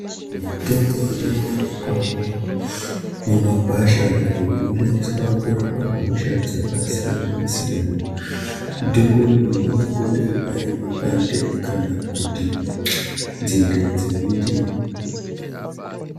Mitombo inowanikwawo mumakwasha iyo inoshandiswa kurapa hosha dzakasiyana siyana mitombo iyi angangodayi ari mapande kana Kuti nzinde dzemiti